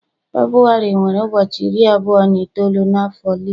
Febrụwarị nwere ụbọchị iri abụọ na itoolu n'afo leap.